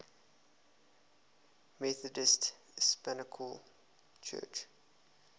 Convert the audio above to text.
methodist episcopal church